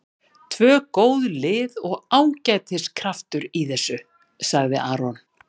Tvö góð lið og ágætis kraftur í þessu, sagði Aron.